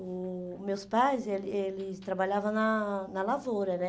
O o meus pais, ele eles trabalhavam na na lavoura, né?